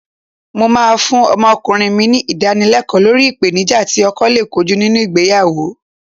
Mó máa fún ọmọkùnrin mi ní Ìdánilẹ́kọ̀ọ́ lórí ìpèníjà tí ọkọ lè kojú nínú ìgbéyàwó